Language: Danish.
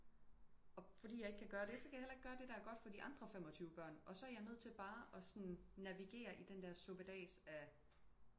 Og fordi jeg ikke kan gøre det så kan jeg heller ikke gøre det som er godt for de andre 25 børn og så er jeg nødt til bare at sådan navigere i den der suppedas af